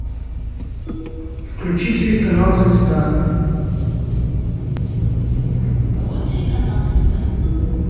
включи телеканал звезда